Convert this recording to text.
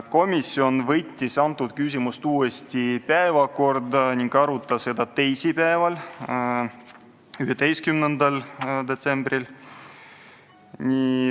Komisjon võttis selle küsimuse uuesti päevakorda ning arutas seda teisipäeval, 11. detsembril.